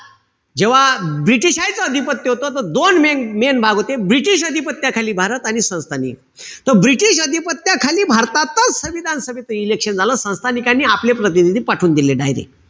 जेव्हा british यच अधिपत्य होत त दोन main-main भाग होते. british अधिपत्याखाली भारत आणि संस्थान. त british अधिपत्याखाली भारतातच संविधान सभेचं election झालं. संस्थानिकांनी आपले प्रतिनिधी पाठवून दिले direct.